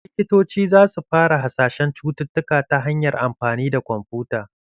Likitoci za su fara hasashen cututtuka ta hanyar amfani da kwamfuta.